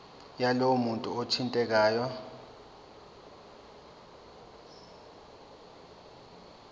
yalowo muntu othintekayo